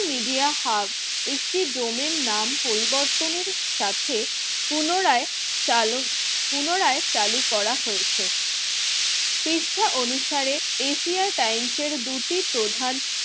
media hub একটি domain নাম পরিবর্তনের সাথে পুনরায় চালক পুনরায় চালু করা হয়েছে পৃষ্ঠা অনুসারে এশিয়া টাইমসের দুটি প্রধান